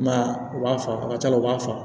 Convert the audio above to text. I m'a ye u b'a fa ka cala la u b'a fa